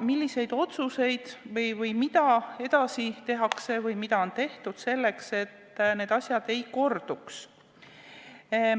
milliseid otsuseid või mida edasi tehakse või mida on tehtud selleks, et need asjad ei korduks.